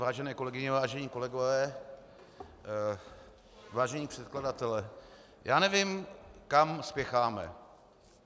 Vážené kolegyně, vážení kolegové, vážení předkladatelé, já nevím, kam spěcháme.